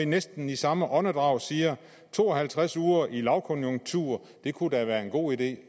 næsten i samme åndedrag siger at to og halvtreds uger under en lavkonjunktur da kunne være en god idé